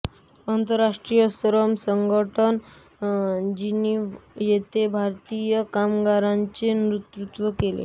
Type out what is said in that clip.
आंतरराष्ट्रीय श्रम संघटन जिनीव्हा येथे भारतीय कामगारांचे नेतृत्व केले